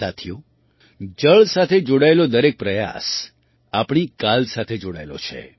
સાથીઓ જળ સાથે જોડાયેલો દરેક પ્રયાસ આપણી કાલ સાથે જોડાયેલો છે